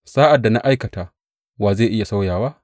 Sa’ad da na aikata, wa zai iya sauyawa?